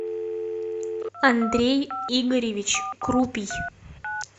андрей игоревич крупий